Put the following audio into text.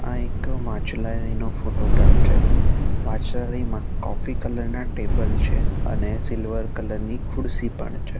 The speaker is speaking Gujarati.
આ એક વાંચનાલય નો ફોટોગ્રાફ છે વાંચનાલય માં કોફી કલર ના ટેબલ છે અને સિલ્વર કલર ની ખુરશી પણ છે.